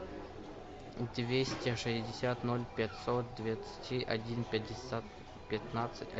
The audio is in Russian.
двести шестьдесят ноль пятьсот двадцать один пятьдесят пятнадцать